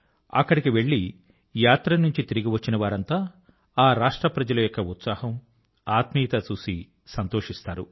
అక్కడి కి వెళ్ళి యాత్ర నుంచి తిరిగి వచ్చిన వారంతా ఆ రాష్ట్ర ప్రజల యొక్క ఉత్సాహం ఆత్మీయత చూసి సంతోషిస్తారు